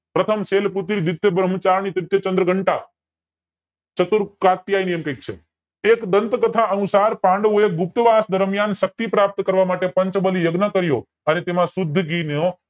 પ્રથમ શૈલપુત્રી બ્રહ્મચારિણી ચતુર એવું કાક છે એક ગ્રંથ કથા અનુસાર પાંડવોએ ગુપ્તવાસ દરમિયાન શક્તિ પ્રાપ્ત કરવા માટે પંચબલી યજ્ઞ કર્યો અને તેમાં શુદ્ધ ઘી નો